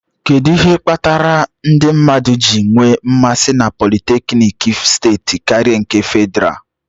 Kedu ihe kpatara ndị mmadụ ji nwee mmasi na politékiniki steeti karịa nke Fedrá?